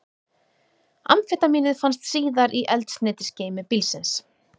Amfetamínið fannst síðar í eldsneytisgeymi bílsins